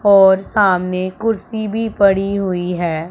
और सामने कुर्सी भी पड़ी हुई है।